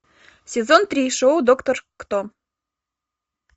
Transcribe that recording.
сезон три шоу доктор кто